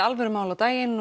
alvöru mál á daginn